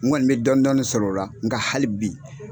n Kɔni bɛ dɔɔnin dɔɔnin sɔrɔ o la n ka hali bi.